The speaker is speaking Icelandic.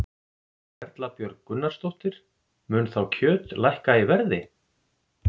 Erla Björg Gunnarsdóttir: Mun þá kjöt lækka í verði?